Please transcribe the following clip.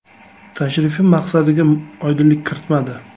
Tashrifi maqsadiga oydinlik kiritmadi.